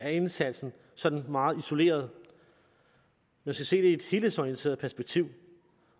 af indsatsen sådan meget isoleret man skal se det i et helhedsorienteret perspektiv